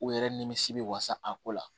U yɛrɛ nimisi bɛ wasa a ko la